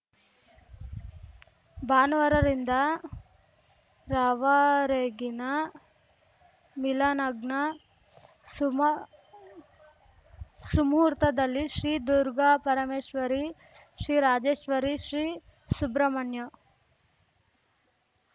ಭಾನುವಾರ ರಿಂದ ರವರೆಗಿನ ಮೀಲ ಲಗ್ನ ಸುಮ ಸುಮುಹೂರ್ತದಲ್ಲಿ ಶ್ರೀ ದುರ್ಗಾಪರಮೇಶ್ವರಿ ಶ್ರೀ ರಾಜೇಶ್ವರಿ ಶ್ರೀ ಸುಬ್ರಹ್ಮಣ್ಯ